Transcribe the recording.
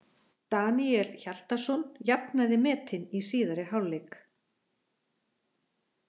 Daníel Hjaltason jafnaði metin í síðari hálfleik.